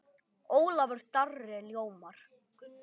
Ólafur Darri ljómar.